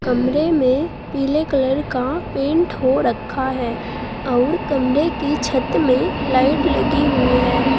कमरे में पीले कलर का पेंट हो रखा है और कमरे की छत में लाइट लगी हुई है।